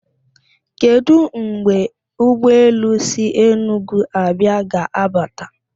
Kedụ mgbe ụgbọelu si Enugwu abịạ ga-abata?